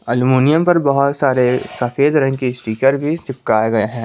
Aluminium पर बहुत सारे सफेद रंग के स्टीकर भी चिपकाए गए हैं।